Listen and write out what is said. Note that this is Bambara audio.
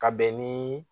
Ka bɛn niii